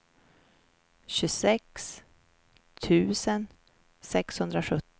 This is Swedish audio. tjugosex tusen sexhundrasjutton